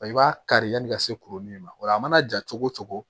I b'a kari yani ka se kuruli in ma o la a mana ja cogo cogo